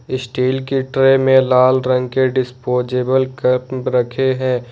Steel के tray में लाल रंग के डिस्पोजेबल कप रखे हैं।